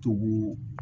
Togu